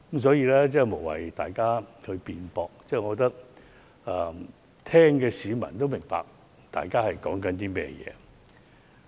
所以，我覺得大家無謂爭拗，聆聽的市民自會明白大家說的是甚麼。